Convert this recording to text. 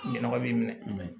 Ɲɛnɛma b'i minɛ